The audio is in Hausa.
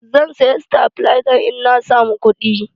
Zan saya sitabilazan in na samu kuɗi.